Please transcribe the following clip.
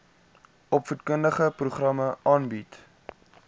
opvoedkundige programme aanbied